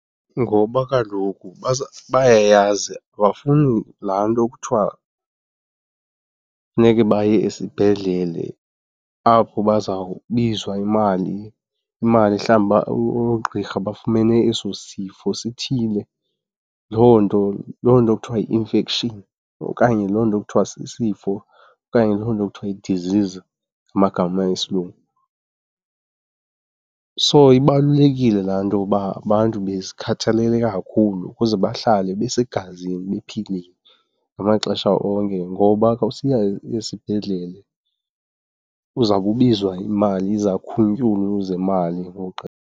Ngoba kaloku bayayazi abafuni laa nto kuthiwa funeke baye esibhedlele apho bazawubizwa imali. Imali, mhlawumbi uba oogqirha bafumene eso sifo sithile, loo nto, loo nto kuthiwa yi-infection okanye loo nto kuthiwa sisifo okanye loo nto kuthiwa yi-disease ngamagama esilungu. So ibalulekile laa nto uba abantu bezikhathalele kakhulu ukuze bahlale besegazini bephilile ngamaxesha onke ngoba xa usiya esibhedlele uzawube ubizwa imali izakhuntyulu zemali .